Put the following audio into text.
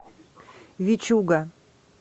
вичуга